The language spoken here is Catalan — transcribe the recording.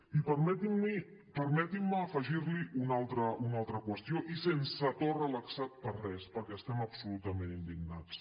i permetin me afegir li una altra qüestió i sense to relaxat per res perquè estem absolutament indignats